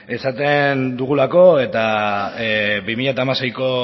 esaten dugulako eta bi mila hamaseiko